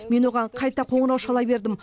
мен оған қайта қоңырау шала бердім